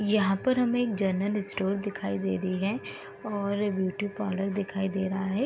यहाँ पर हमें एक जनरल स्टोर दिखाई दे रही है और ब्यूटी पार्लर दिखाई दे रहा है।